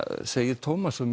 segir Tómas á